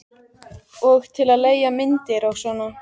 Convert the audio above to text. Og til að leigja myndir og svona.